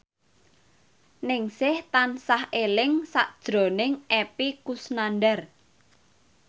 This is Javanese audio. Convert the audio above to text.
Ningsih tansah eling sakjroning Epy Kusnandar